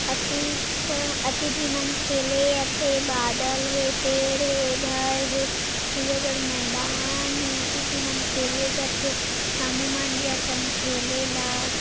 अतिक अति झिमन खेले अथे बादल हे पेड़ हे घर हे ते बढ़ मैदान हे अति झिमन खेले जाथे ह्मू मन जथन खेले ला--